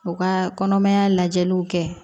U ka kɔnɔmaya lajɛliw kɛ